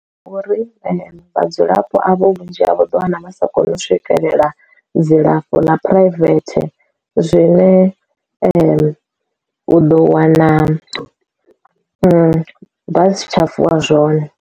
Uri vhadzulapo avho vhunzhi havho ḓi wana vha sa koni u swikelela dzilafho ḽa private zwine u ḓo wana vha si tsha vula zwone.